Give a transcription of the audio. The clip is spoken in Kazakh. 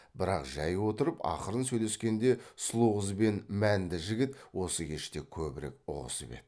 бірақ жай отырып ақырын сөйлескенде сұлу қыз бен мәнді жігіт осы кеште көбірек ұғысып еді